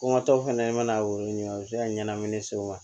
Kɔnkɔtɔ fana i mana o ɲini a bɛ se ka ɲanamini se o ma